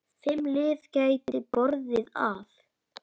Fimm lið gætu borið af.